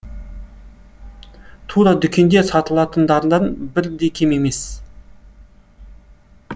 тура дүкенде сатылатындардан бір де кем емес